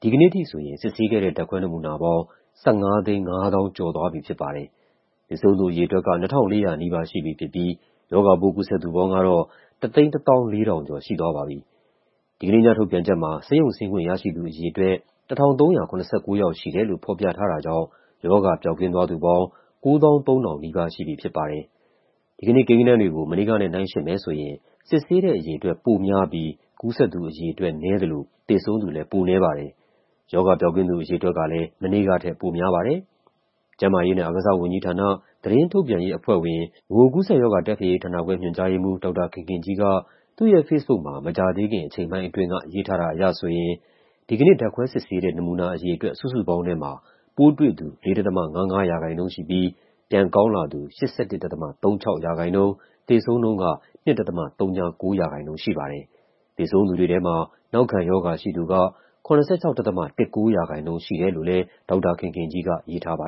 ဒီကနေ့အထိဆိုရင် စစ်ဆေးခဲ့တဲ့ ဓာတ်ခွဲနမူနာပေါင်း ၁,၅၅၁,၅၃၈ ခု ရှိသွားပြီဖြစ်ပါတယ်။ သေဆုံးသူ အရေအတွက်က ၂,၃၉၈ ဦး ရှိပြီဖြစ်ပြီး ရောဂါပိုး ကူးစက်သူပေါင်းကတော့ ၁၁၄,၁၉၈ ဦး ရှိသွားပါပြီ။ ဒီကနေ့ညထုတ်ပြန်ချက်မှာ ဆေးရုံဆင်းခွင့်ရရှိသူအရေအတွက် ၁,၃၇၉ ယောက်ရှိတယ်လို့ ဖော်ပြထားတာကြောင့် ရောဂါပျောက်ကင်းသွားသူပေါင်း ၉၂,၉၁၆ ယောက် ရှိသွားပြီဖြစ်ပါတယ်။ဒီကနေ့ကိန်းဂဏန်းတွေကို မနေ့ကနဲ့ နှိုင်းယှဉ်မယ်ဆိုရင် စစ်ဆေးတဲ့အရေအတွက် ပိုများပြီး ကူးစက်သူအရေအတွက် နည်းသလို သေဆုံးသူလည်း ပိုနည်းပါတယ်။ ရောဂါပျောက်ကင်းသူအရေအတွက်ကလည်း မနေ့ကထက် ပိုများပါတယ်။ ကျန်းမာရေးနဲ့အားကစားဝန်ကြီးဌာန၊ သတင်းထုတ်ပြန်ရေးအဖွဲ့ဝင်၊ ဗဟိုကူးစက်ရောဂါ တိုက်ဖျက်ရေးဌာနခွဲ ညွှန်ကြားရေးမှူး ဒေါက်တာခင်ခင်ကြီးက သူ့ရဲ့ဖေ့စ်ဘုတ်မှာ မကြာသေးခင် အချိန်ပိုင်းအတွင်းက ရေးထားတာအရဆိုရင် ဒီကနေ့ ဓာတ်ခွဲစစ်ဆေးတဲ့ နမူနာအရေအတွက် စုစုပေါင်းထဲမှာ ပိုးတွေ့သူ ၄.၅၅% ရှိပြီး ပြန်ကောင်းလာသူ ၈၁.၃၆% ၊ သေဆုံးနှုန်းက ၂.၀၉% ရှိပါတယ်။သေဆုံးသူတွေထဲမှာ နောက်ခံရောဂါရှိသူက ၇၆.၁၉% ရှိတယ်လို့လည်း ဒေါက်တာခင်ခင်ကြီးက ရေးထားပါ